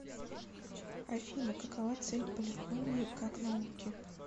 афина какова цель полифонии как науки